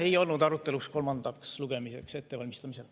See ei olnud aruteluks kolmandaks lugemiseks ettevalmistamisel.